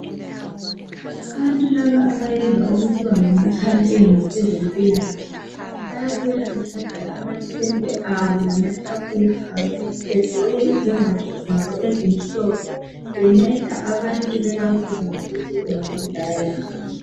Abantu laba abayenza okuthiwa ngama campaigns kwezempilakahle bayabuya befake amatent abo lamatafula abo begqoke izembatho zabo ezimhlophe bengceda abant bebabuza ngokuthi bengagcedakala njani